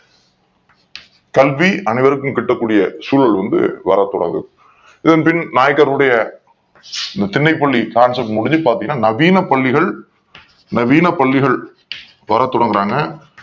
கல்வி அனை வருக்கும் கற்கக் கூடிய சூழல் வர தொடங்குது இதன்பின் நாயக்கர் உடைய திண்ணைப்பள்ளி ஆட்சிகள் முடிஞ்சு நவீன பள்ளி நவீன பள்ளிகள் வர தொடங்குறாங்க